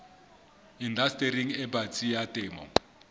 indastering e batsi ya temo